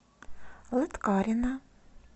лыткарино